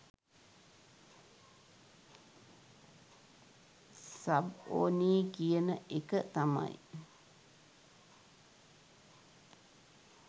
Sub ඕනේ කියන එක තමයි.